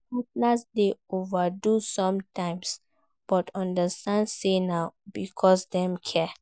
Parents dey overdo sometimes but understand say na because dem care